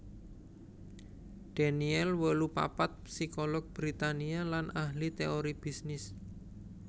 Daniel wolu papat psikolog Britania lan ahli téori bisnis